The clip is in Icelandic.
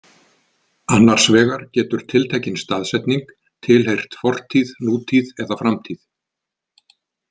Annars vegar getur tiltekin staðsetning tilheyrt fortíð, nútíð eða framtíð.